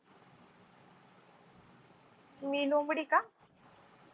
मी लोमडी का?